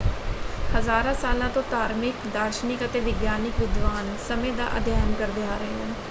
ਹਜ਼ਾਰਾਂ ਸਾਲਾਂ ਤੋਂ ਧਾਰਮਿਕ ਦਾਰਸ਼ਨਿਕ ਅਤੇ ਵਿਗਿਆਨਕ ਵਿਦਵਾਨ ਸਮੇਂ ਦਾ ਅਧਿਐਨ ਕਰਦੇ ਆ ਰਹੇ ਹਨ।